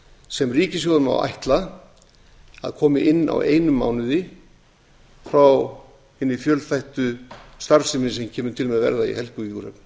sem ríkissjóður má ætla að komi inn á einum mánuði frá hinni fjölþættu starfsemi sem kemur til með að verða í helguvíkurhöfn